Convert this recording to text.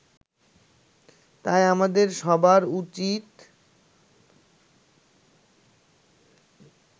তাই আমাদের সবার উচিত